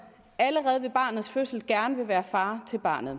allerede ved barnets fødsel gerne vil være far til barnet